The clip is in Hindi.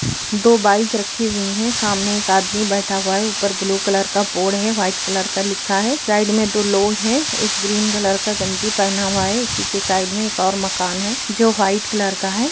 दो बाइक रखी हुई है सामने एक आदमी बैठा हुआ है ऊपर ब्लू कलर का बोर्ड है वाइट कलर का लिखा है साइड में दो लोग है एक ग्रीन कलर का गंजी पहना हुआ है उसी के साइड में एक और मकान है जो वाइट कलर का है।